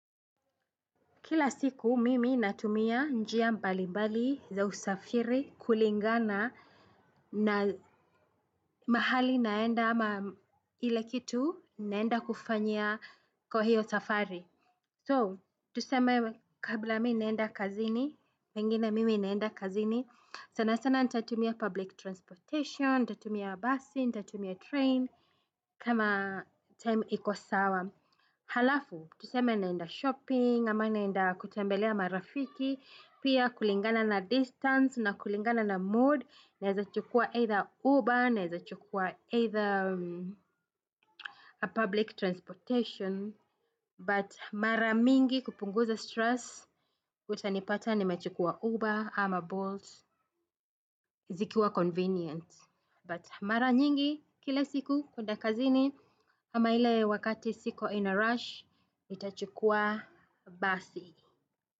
Kila siku mimi natumia njia mbali mbali za usafiri kulingana na mahali naenda ama ile kitu naenda kufanya kwa hiyo safari. So, tuseme kabla mimi naenda kazini, pengine mimi naenda kazini, sana sana nitatumia public transportation, nitatumia bus, nitatumia train kama time iko sawa. Halafu, tuseme naenda shopping, ama naenda kutembelea marafiki. Pia kulingana na distance, na kulingana na mood naa chukua either Uber, naeza chukua either public transportation But mara mingi kupunguza stress. Utanipata nimechukua Uber ama Bolt. Zikiwa convenient But mara nyingi, kila siku kwenda kazini ama ile wakati siko in a rush nitachukua basi.